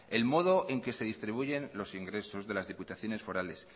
el modo en que se distribuyen los ingresos de las diputaciones forales